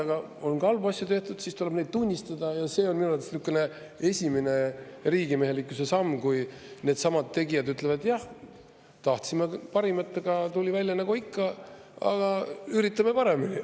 Aga kui on ka halbu asju tehtud, siis tuleb neid tunnistada, ja see on minu arvates niisugune esimene riigimehelikkuse samm, kui needsamad tegijad ütlevad: "Jah, tahtsime parimat, aga tuli välja nagu ikka, aga üritame paremini.